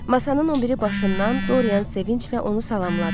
Masanın obiri başından Dorian sevinclə onu salamladı.